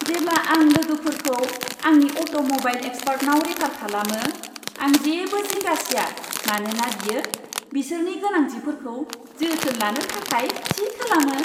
जेब्ला आं लोगोफोरखौ आंनि अट'मबाइल एक्सपार्टनाव रेफार खालामो, आं जेबो जिंगा सिया मानोना बियो बिसोरनि गोनांथिफोरखौ जोथोन लानो थाखाय थि खालामो।